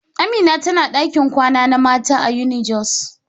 Amina tana dakin kwana na mata a unijos.